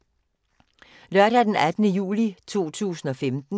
Lørdag d. 18. juli 2015